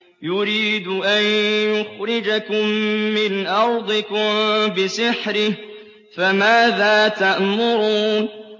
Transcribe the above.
يُرِيدُ أَن يُخْرِجَكُم مِّنْ أَرْضِكُم بِسِحْرِهِ فَمَاذَا تَأْمُرُونَ